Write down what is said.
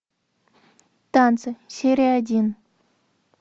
танцы серия один